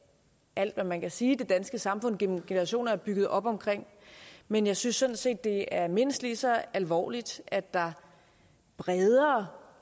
alt hvad man kan sige det danske samfund gennem generationer er bygget op om men jeg synes sådan set at det er mindst lige så alvorligt at der bredere